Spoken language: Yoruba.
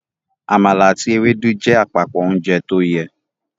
Àmàlà àti Ewédú jẹ́ àpapọ ounjẹ tóyẹ